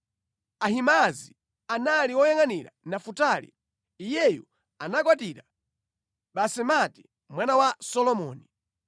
Ahimaazi anali woyangʼanira Nafutali (iyeyu anakwatira Basemati mwana wa Solomoni);